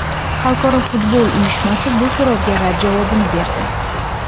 Xalqaro futbol uyushmasi bu so‘rovga rad javobini berdi.